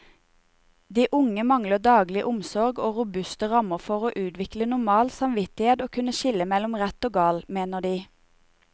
De unge mangler daglig omsorg og robuste rammer for å utvikle normal samvittighet og kunne skille mellom rett og galt, mener de.